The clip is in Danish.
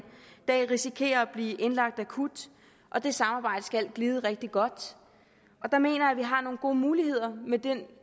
dag risikere at blive indlagt akut og det samarbejde skal glide rigtig godt der mener jeg at vi har nogle gode muligheder med det